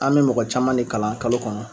An mɛ mɔgɔ caman ne kalan kalo kɔnɔ.